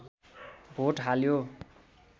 vote हाल्यो